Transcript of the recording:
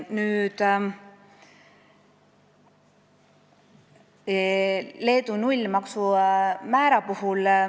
Nüüd veel sellest Leedu nullmaksumäärast.